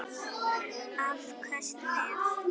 Afköst með